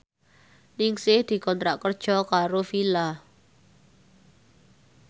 Ningsih dikontrak kerja karo Fila